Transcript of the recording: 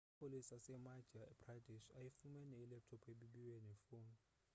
amapolisa asemadhya pradesh ayifumene ilaptop ebibiwe nefowuni